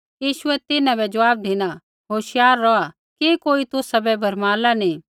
यीशुऐ तिन्हां बै ज़वाब धिना होशियार रौहा कि कोई तुसाबै भरमाला नी